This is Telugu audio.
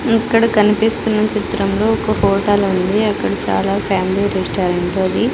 ఇక్కడ కనిపిస్తున్న చిత్రంలో ఒక హోటల్ ఉంది అక్కడ చాలా ఫ్యామిలీ రెస్టారెంట్ అది.